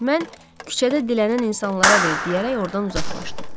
Mən küçədə dilənən insanlara ver deyərək ordan uzaqlaşdım.